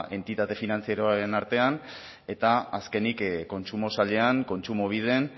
entitate finantzieroen artean eta azkenik kontsumo sailean kontsumobiden